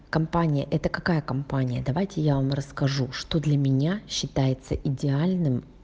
компания это какая компания давайте я вам расскажу что для меня считается идеальным